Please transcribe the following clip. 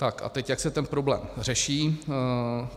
Tak a teď jak se ten problém řeší.